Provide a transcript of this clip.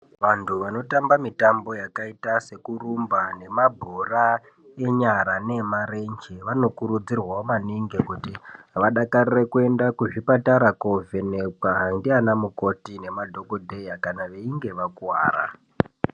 Vanthu vanotamba mitambo yakaita sekurumba nemabhora enyara neemarenje vanokurudzirwawo maningi kuti vadakarire kuenda kuzvipatara kovhenekwa ndiana mukoti nemadhokodheya kana veinge vakuwara.